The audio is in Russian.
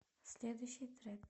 следующий трек